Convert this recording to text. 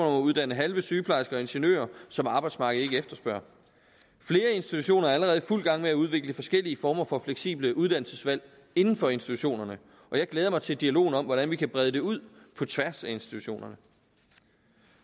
at uddanne halve sygeplejersker og ingeniører som arbejdsmarkedet ikke efterspørger flere institutioner er allerede i fuld gang med at udvikle forskellige former for fleksible uddannelsesvalg inden for institutionerne og jeg glæder mig til dialogen om hvordan vi kan brede det ud på tværs af institutionerne